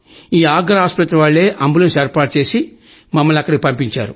ఈ ఆగ్రా ఆస్పత్రి వాళ్లే అంబులెన్స్ ఏర్పాటు చేసి మమ్మల్ని అక్కడికి పంపించారు